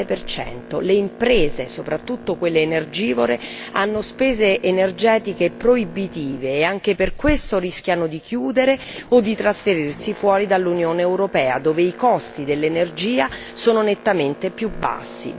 17 le imprese, soprattutto quelle energivore hanno spese energetiche proibitive e anche per questo rischiano di chiudere o di trasferirsi fuori dall'Unione europea, dove i costi dell'energia sono nettamente più bassi.